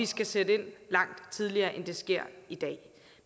skal sætte ind langt tidligere end det sker i dag